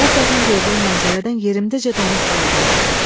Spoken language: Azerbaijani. Qəflətən gördüyüm mənzərədən yerimdəcə donub qaldım.